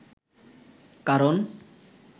কারণ